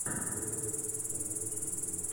лента со светланой ходченковой